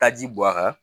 Taji bɔ a kan